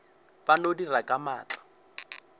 ba no dira ka maatla